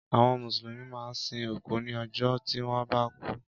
Àwọn Mùsùlùmí máa ń sin òkú ní ọjọ́ tí wọ́n bá kú.